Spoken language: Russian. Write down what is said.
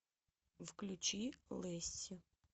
включи лесси